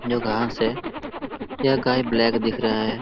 जो गांव से यह गाय ब्लैक दिख रहा है।